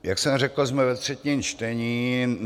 Jak jsem řekl, jsme ve třetím čtení.